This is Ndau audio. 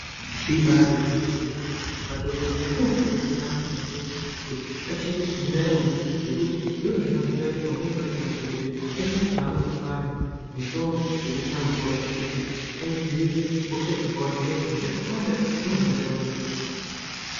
Ibaari gwinyiso remene madhokodheya anokuridzira antu maningi kuti achengetedze ndaramo yawo zvekuti ndozvakazoita kuti pamweni pacho madhokodheya aite echihamba echipa anu mitombo yekuisa mvura kuti aidziirire hosha dzakawanda ngendaa yekuti hosha dzakawanda dzinohambira mumvura.